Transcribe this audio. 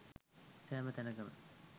සෑම තැනකම